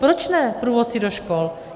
Proč ne průvodci do škol?